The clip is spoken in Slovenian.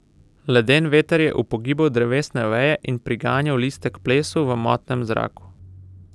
Leden veter je upogibal drevesne veje in priganjal liste k plesu v motnem zraku.